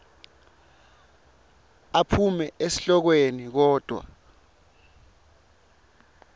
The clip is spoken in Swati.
aphume esihlokweni kodvwa